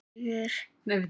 Sá sigur kom of seint.